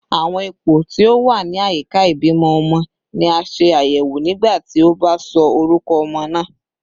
Awọn ipo ti o wa ni ayika ibimọ ọmọ ni a ṣe ayẹwo nigbati o ba sọ orukọ ọmọ naa